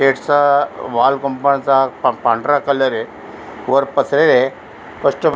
गेटचा wall compound पांढरा colour य वर पत्रेय --